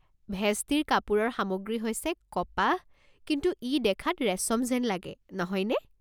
ভেষ্টিৰ কাপোৰৰ সামগ্ৰী হৈছে কপাহ, কিন্তু ই দেখাত ৰেচম যেন লাগে, নহয় নে?